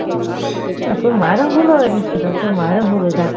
না তোর মায়ের ভুল হয়েছে সেটা তো তোর মায়ের ভুল হয়েছে এক